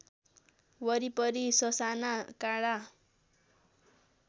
वरिपरि ससाना काँडा